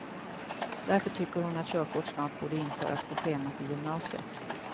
Därför tycker hon att körkort snart borde införas på schemat i gymnasiet.